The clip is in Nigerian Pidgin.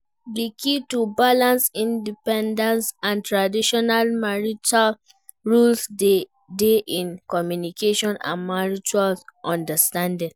di key to balance independence and traditional marital roles dey in communication and mutual understanding.